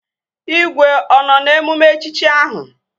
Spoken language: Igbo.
Igwe ọ nọ n'emume echichi ahụ?